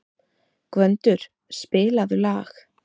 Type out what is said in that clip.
Gvöndur, spilaðu lag.